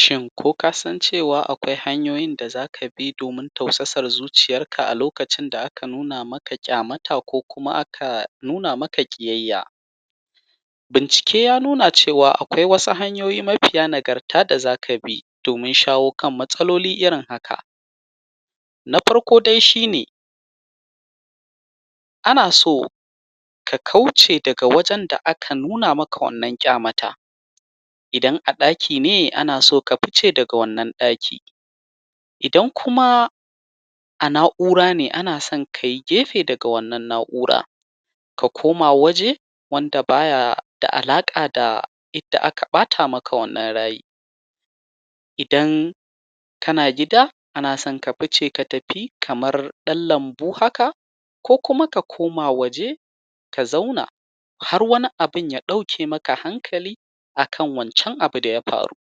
Shin ko ka san akwai hanyoyin da zaka bi domin tausasa zuciyarka, a lokacin da aka nuna maka ƙyamata, ko kuma a nuna maka ƙiyayya? Bincike ya nuna cewa, akwai wasu hanyoyi mafiya nagarta da zaka bi domin shawo kan matsaloli irin haka: Na farko dai shi ne, ana so ka kauce daga wajen da aka nuna maka wannan ƙyamata. Wannan ƙyamata idan a ɗaki ne, ana so ka fice daga wannan ɗaki. Idan kuma a na’ura ne, ana son a yi gefe daga wannan na’uran, ko ka koma waje inda ba yi da wani alaƙa da inda aka ɓata maka wannan rai. Idan gida ne ana son ka fice ka tafi kamar ɗan lambu haka, ko kuma ka koma waje ka zauna har wani abun ya ɗauke maka hankali, a kan wancen abu da ya faru.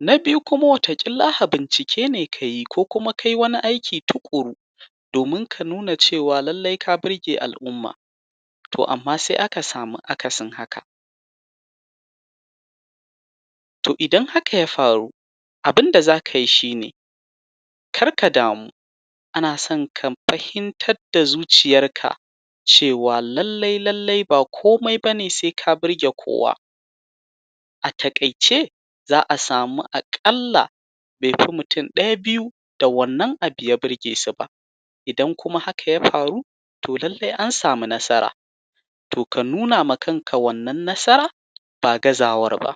Na biyu kuma wata ƙila bincike ne ka yi, ko kuma ka yi wani aiki tuƙuru domin ka nuna cewa ka burge al’umma, to amma sai da aka samu akasin haka. To idan haka ya faru, abin da zaka yi shi ne kar ka damu, ana son ka fahimtar da zuciyarka cewa; lallai-lallai ba komai ba ne sai ka burge kowa. A taƙaice, za a samu aƙalla mutum ɗaya ko biyu da wannan abu ya burge su, idan haka ya faru, to lallai an samu nasara. To ka nuna ma kanka wannan nasarar ba gazawar ba.